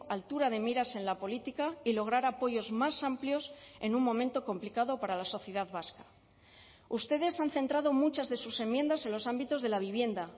altura de miras en la política y lograr apoyos más amplios en un momento complicado para la sociedad vasca ustedes han centrado muchas de sus enmiendas en los ámbitos de la vivienda